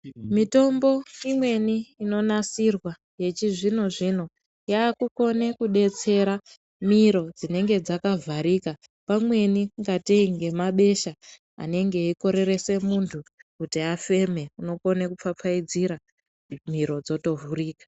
Mitombo imweni inonasirwa yechizvino zvino yakukone kunetsera miro zvinenge dzakavharika pamweni kungatei nemabesha anenge eikorerese munhu kuti afema unokone kupfapfaidzira miro dzotovhurika.